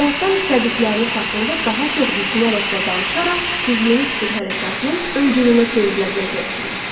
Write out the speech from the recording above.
Həyatdan istədikləriniz haqqında daha çox düşünərək və danışaraq siz yeni fikir hərəkatının öncülünə çevrilə biləcəksiniz.